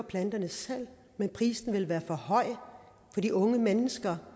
planterne selv men prisen vil være for høj for de unge mennesker